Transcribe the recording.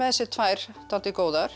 sér tvær dálítið góðar